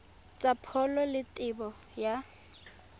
tsa pholo le tebo ya